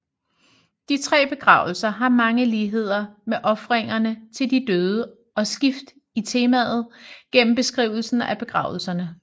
De tre begravelser har mange ligheder med ofringerne til de døde og skift i temaet gennem beskrivelsen af begravelserne